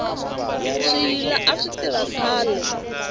swiyila a swi tirha khale